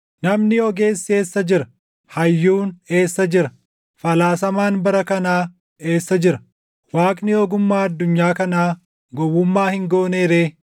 Namni ogeessi eessa jira? Hayyuun eessa jira? Falaasamaan bara kanaa eessa jira? Waaqni ogummaa addunyaa kanaa gowwummaa hin goonee ree?